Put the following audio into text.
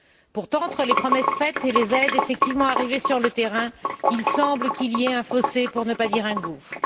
Pourtant, entre les promesses faites et les aides effectivement arrivées sur le terrain, il semble qu'il y ait un fossé, pour ne pas dire un gouffre.